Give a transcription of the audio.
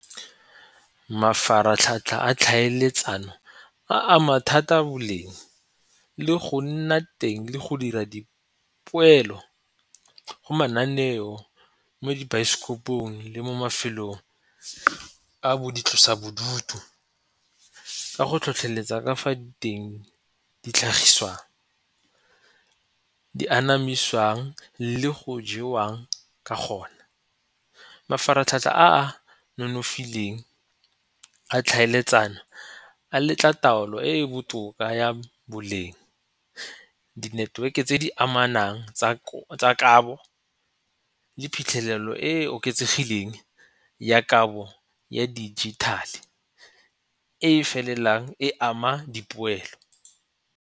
Mafaratlhatlha a tlhaeletsano a ama thata boleng le go nna teng le go dira dipoelo go mananeo mo dibaesekopong le mo mafelong a boitlosa bodutu ka go tlhotlheletsa ka fa teng di tlhagiswang, di anamisiwang le go jewang ka gone. Mafaratlhatlha a a nonofileng a tlhaeletsano a letla taolo e e botoka ya boleng, di-network-e tse di amanang tsa kabo le phitlhelelo e e oketsegileng ya kabo ya dijithale e felelang e ama dipoelo.